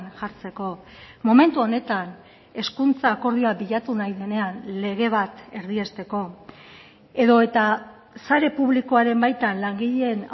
jartzeko momentu honetan hezkuntza akordioa bilatu nahi denean lege bat erdiesteko edota sare publikoaren baitan langileen